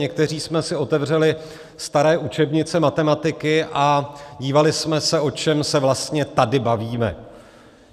Někteří jsme si otevřeli staré učebnice matematiky a dívali jsme se, o čem se vlastně tady bavíme.